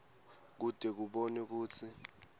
kute kubonwe kutsi